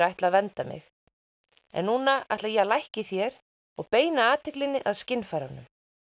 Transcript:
ætla að vernda mig en núna ætla ég að lækka í þér og beina athyglinni að skynfærunum